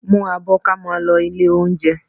Mú abọ́ kí a máa lọ ilé-olóunjẹ